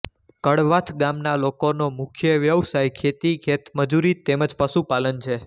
કડવાથ ગામના લોકોનો મુખ્ય વ્યવસાય ખેતી ખેતમજૂરી તેમ જ પશુપાલન છે